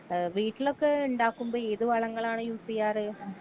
ഏ വീട്ടിലൊക്കെ ഇണ്ടാക്കുമ്പൊ ഏത് വളങ്ങളാണ് യൂസീയാറ്.